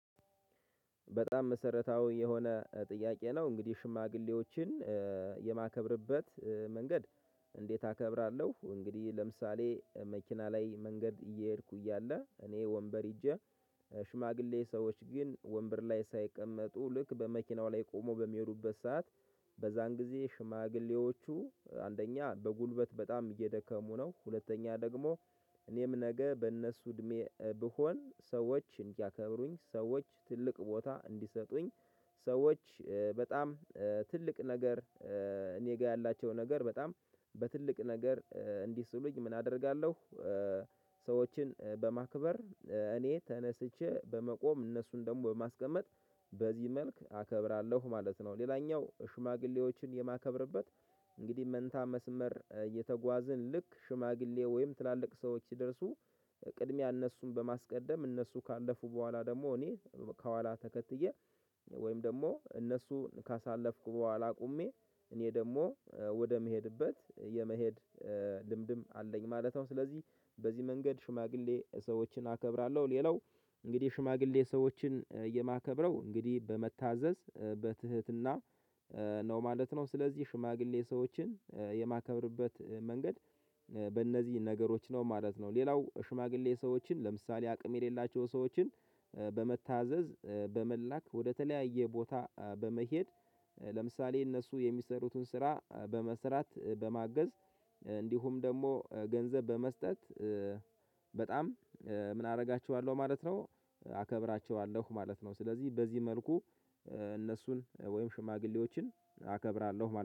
በጣም መሰረታዊ የሆነ ጥያቄ ነው። እንግዲህ ሽማግሌዎችን የማከብርበት፤ እንዴት አከብራለሁ እንግዲህ ለምሳሌ መኪና ላይ መንገድ እየሄድኩ እያለ፤ እኔ ወንበር ይዤ ሽማግሌ ሰዎች ግን ወንበር ላይ ሳይቀመጡ፤ ልክ በመኪናው ላይ ቆሞ በሚሄዱበት ሰዓት በዛን ጊዜ ሽማግሌዎቹ አንደኛ በጉልበት በጣም እየደከሙ ነው፤ ሁለተኛ ደግሞ እኔም ነገ በእነሱ እድሜ ብሆን፤ ሰዎች እንዲያከብሩኝ ሰዎች ትልቅ ቦታ እንዲሰጡኝ፤ ሰዎች በጣም ትልቅ ነገር እኔ ጋር ያላቸው ነገር በጣም በትልቅ ነገር እንዲስሉኝ፤ ምን አደርጋለሁ ሰዎችን በማክበር፤ እኔ ተነስቼ በመቆም እነሱን ደግሞ በማስቀመጥ፤ በዚህ መልክ አከብራለሁ ማለት ነው። ሌላኛው ሽማግሌዎችን የማከብርበት እንግዲህ መንታ መስመር እየተጓዝን፤ ልክ ሽማግሌ ወይም ትላልቅ ሰዎች ሲደርሱ፤ ቅድሚያ እነሱን በማስቀደም፤ እነሱ ካለፉ በኋላ ደግሞ እኔ ከኋላ፤ ተከትዬ ወይም ደግሞ እነሱን ካሳለፍኩ በኋላ ቆሜ እኔ ደግሞ ወደምሄድበት የመሄድ ልምድም አለኝ ማለት ነው፤ ስለዚህ በዚህ መንገድ ሽማግሌ ሰዎችን አከብራለሁ። ሌላው እንግዲህ ሽማግሌ ሰዎችን የማከብረው እንግዲህ በመታዘዝ፤ በትህትና፤ ነው ማለት ነው ስለዚህ ሽማግሌ ሰዎችን የማከብርበት መንገድ በእነዚህ ነገሮች ነው ማለት ነው፤ ሌላው ሽማግሌ ሰዎችን ለምሳሌ አቅም የሌላቸው ሰዎችን በመታዘዝ፤ በመላክ፤ ወደተለያየ ቦታ በመሄድ፤ ለምሳሌ እነሱ የሚሰሩትን ስራ በመስራት፤ በማገዝ እንዲሁም ደግሞ ገንዘብ በመስጠት፤ በጣም ምን አደርጋችኋለሁ ማለት ነው አከብራቸዋለሁ ማለት ነው። ስለዚህ በዚህ መልኩ እነሱን ወይም ሽማግሌዎችን አከብራለሁ።